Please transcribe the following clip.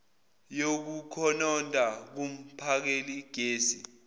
yokukhononda kumphakeli gesi